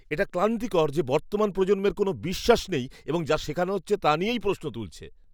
এটা ক্লান্তিকর যে বর্তমান প্রজন্মের কোনও বিশ্বাস নেই এবং যা শেখানো হচ্ছে তা নিয়েই প্রশ্ন তুলছে।